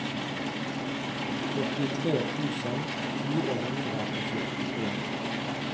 førtitre tusen fire hundre og førtien